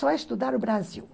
Só estudar o Brasil.